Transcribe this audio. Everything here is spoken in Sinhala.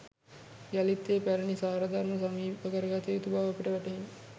යළිත් ඒ පැරණි සාරධර්ම සමීපකරගත යුතු බව අපට වැටහිණි.